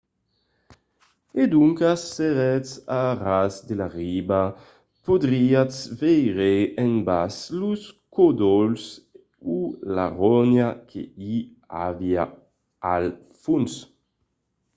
e doncas s'èretz a ras de la riba podriatz veire en bas los còdols o la ronha que i aviá al fons